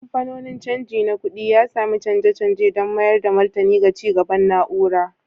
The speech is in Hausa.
Kamfanonin canji na kuɗi, ya sami canje-canje don mayar da martani ga ci gaban na'ura